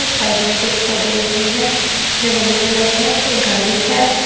Side में कुछ पौधे भी है जो गमले में लगे हैं एक गाड़ी है।